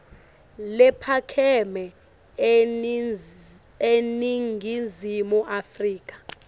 lephakeme eningizimu afrika